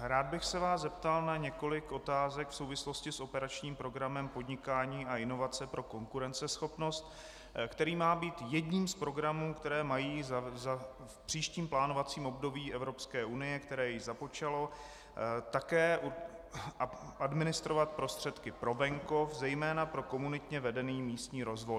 rád bych se vás zeptal na několik otázek v souvislosti s operačním programem Podnikání a inovace pro konkurenceschopnost, který má být jedním z programů, které mají v příštím plánovacím období Evropské unie, které již započalo, také administrovat prostředky pro venkov, zejména pro komunitně vedený místní rozvoj.